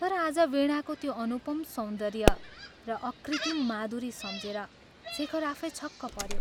तर आज वीणाको त्यो अनुपम सौन्दर्य र अकृत्रिम माधुरी सम्झेर शेखर आफै छक्क पऱ्यो ।